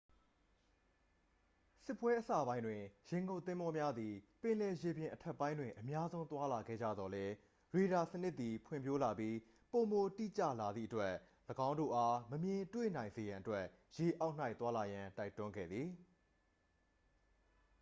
စစ်ပွဲအစပိုင်းတွင် ရေငုပ်သင်္ဘောများသည် ပင်လယ်ရေပြင်အထက်ပိုင်းတွင် အများဆုံး သွားလာခဲ့ကြသော်လည်း ရေဒါစနစ်သည် ဖွံ့ဖြိုးလာပြီး ပိုမိုတိကျလာသည့်အတွက် ၎င်းတို့အား မမြင်တွေ့နိုင်စေရန်အတွက် ရေအောက်၌ သွားလာရန် တိုက်တွန်းခဲ့သည်